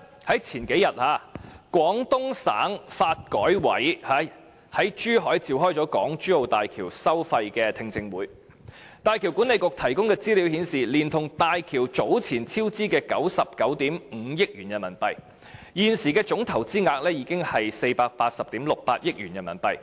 然而，數天前，廣東省發展和改革委員會在珠海召開港珠澳大橋收費的聽證會，大橋管理局提供的資料顯示，連同大橋早前超支的99億 5,000 萬元人民幣，現時的總投資額達480億 6,800 萬元人民幣，